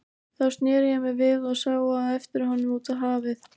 Þá sneri ég mér við og sá á eftir honum út á hafið.